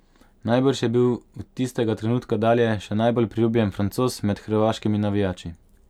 Najbrž je bil od tistega trenutka dalje še najbolj priljubljen Francoz med hrvaškimi navijači.